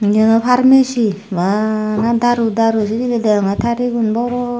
eyano pharmacy bana daru daru sijiri degongey tarigun boron.